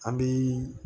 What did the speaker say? An bi